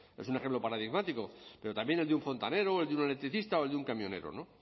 es un ejemplo paradigmático pero también el de un fontanero o el de un electricista o el de un camionero